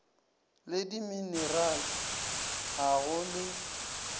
le dimenerale ga go le